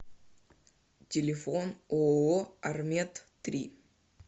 телефон ооо армед три